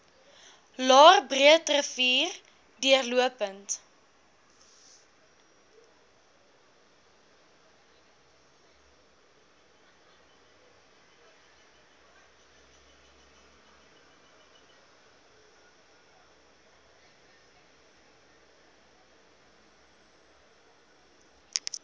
laer breederivier deurlopend